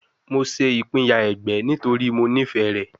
Mo ṣe ipinya ẹgbẹ nitori Mo nifẹ rẹ